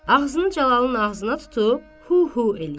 Ağzını Cəlalın ağzına tutub hu-hu eləyir.